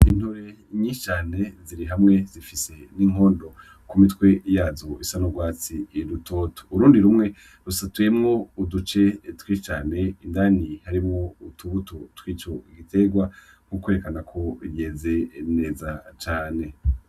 Intore nyinshi cane ziri hamwe zifise n'inkondo ku mitwe yazo isa n'urwatsi rutoto, urundi rumwe rusatuyemwo uduce twinshi cane, indani harimwo utubuto twico giterwa, nko kwerekana ko yeze neza cane.